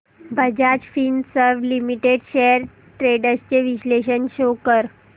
Bajaj Finserv limited shares trends चे विश्लेषण show कर